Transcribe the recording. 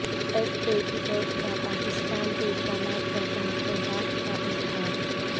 F A T F کا پاکستان کے اقدامات پر تحفظات کا اظہار